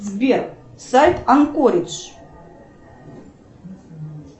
сбер сайт анкоридж